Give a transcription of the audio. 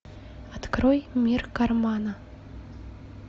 открой мир кармана